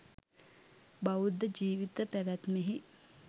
බෞද්ධ ජීවිත පැවැත්මෙහි